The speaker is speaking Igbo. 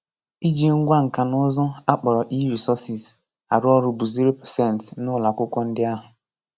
Ịji ngwa nka na ụzụ, a kpọrọ e-resources, arụ ọrụ bụ 0% n'ụlọ akwụkwọ ndị ahụ.